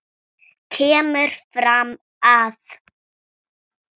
kemur fram að